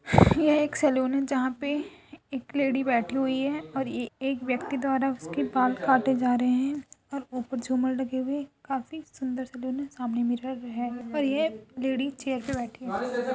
यह एक सैलून है जहाँ पे एक लेडी बैठी हुई है और एक व्यक्ति द्वारा उसके बाल काटे जा रहे हैं और ऊपर झूमर लगे हुए हैं। काफी सुन्दर सैलून है सामने मिरर है और ये लेडी चेयर पर बैठी है।